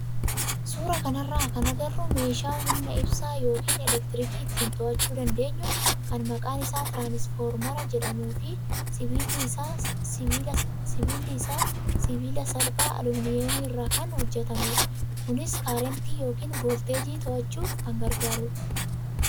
Suuraa kanarraa kan agarru meeshaa humna ibsaa yookaan elektiriikii ittiin to'achuu dandeenyu kan maqaan isaa tiraansfoormara jedhamuu fi sibiilli isaa sibiila salphaa aluminiyeemii irraa kan hojjatamedha. Kunis kaarentii yookaan voolteejii to'achuu kan gargaarudha.